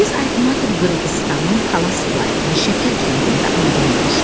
Çingiz Aytmatov Qırğızıstanın Talas vilayətinin Şəkər kəndində anadan olmuşdu.